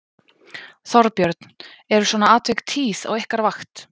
Þorbjörn: Eru svona atvik tíð á ykkar vakt?